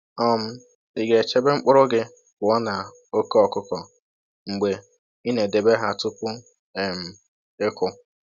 um Ị ga-echebe mkpụrụ gị pụọ na oke ọkụkọ mgbe ị na-edebe ha tupu um ịkụ